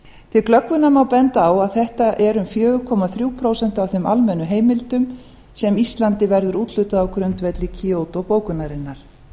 til glöggvunar má benda á að þetta eru um fjóra komma þrjú prósent af þeim almennu heimildum sem íslandi verður úthlutað á grundvelli kyoto bókunarinnar